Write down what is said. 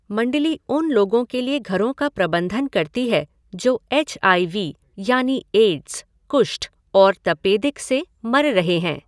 मण्डली उन लोगों के लिए घरों का प्रबंधन करती है जो एच आई वी यानि एड्स, कुष्ठ और तपेदिक से मर रहे हैं।